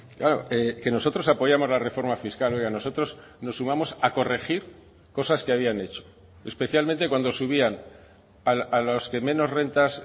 claro que nosotros apoyamos la reforma fiscal oiga nosotros nos sumamos a corregir cosas que habían hecho especialmente cuando subían a los que menos rentas